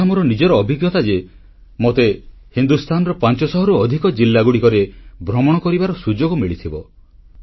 ଏହା ମୋର ନିଜର ଅଭିଜ୍ଞତା ଯେ ମୋତେ ହିନ୍ଦୁସ୍ଥାନର 500ରୁ ଅଧିକ ଜିଲ୍ଲାରେ ଭ୍ରମଣ କରିବାର ସୁଯୋଗ ମିଳିଥିବ